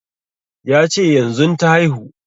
Ya ce yanzun ta haihu